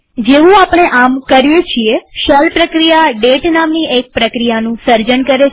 જેવું આપણે આમ કરીએ છીએ શેલ પ્રક્રિયા ડેટ નામની એક પ્રક્રિયાનું સર્જન કરે છે